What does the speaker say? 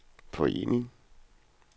forening